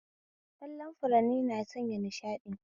Kallon furanni na sanya nishaɗi